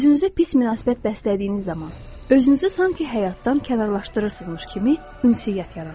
Özünüzə pis münasibət bəslədiyiniz zaman, özünüzü sanki həyatdan kənarlaşdırırsınızmış kimi ünsiyyət yaranır.